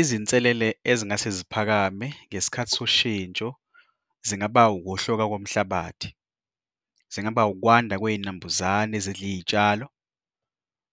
Izinselele ezingase ziphakame ngesikhathi soshintsho, zingaba ukuhloka komhlabathi, zingaba ukwanda kwey'nambuzane ezidla iy'tshalo.